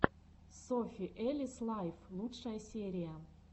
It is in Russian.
софи элис лайф лучшая серия